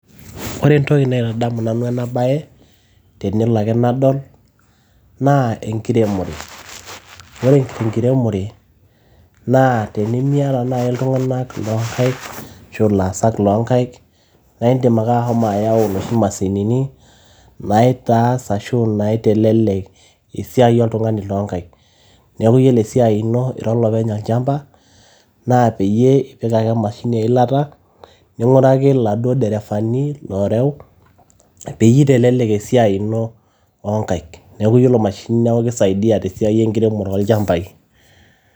ore entoki naitadamu nanu ena baye tenelo ake nadol naa enkiremore ore enkiremore naa tenimiata naaji iltung'anak loonkaik ashu ilaasak loonkaik naa indim ake ahomo ayau noshi mashinini naitaas ashu naitelelek esiai oltung'ani loonkaik neeku yiolo esiai ino ira olopeny olchamba naa peyie ipik ake emashini eilataa ning'uraki iladuo derefani loorew peyie eitelelek esiai ino oonkaik neeku yiolo mashinini neeku tesiai enkiremore olchambai.